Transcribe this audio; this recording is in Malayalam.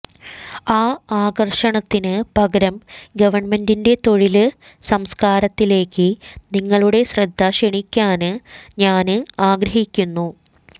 ആ ആകര്ഷണത്തിന് പകരം ഗവണ്മെന്റിന്റെ തൊഴില് സംസ്ക്കാരത്തിലേക്ക് നിങ്ങളുടെ ശ്രദ്ധ ക്ഷണിക്കാന് ഞാന് ആഗ്രഹിക്കുന്നു